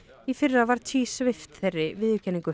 í fyrra var svipt þeirri viðurkenningu